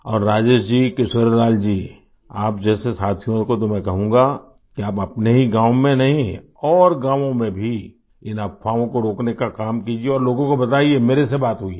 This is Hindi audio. और राजेश जी किशोरीलाल जी आप जैसे साथियों को तो मैं कहूँगा कि आप अपने ही गाँव में नहीं और गाँवों में भी इन अफ़वाहों को रोकने का काम कीजिये और लोगों को बताइये मेरे से बात हुई है